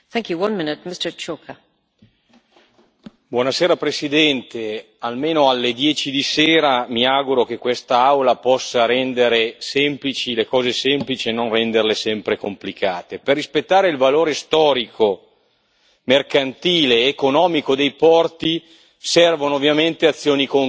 Signora Presidente, onorevoli colleghi, almeno alle dieci di sera mi auguro che quest'Aula possa rendere semplici le cose semplici e non renderle sempre complicate. Per rispettare il valore storico mercantile ed economico dei porti servono ovviamente azioni concrete.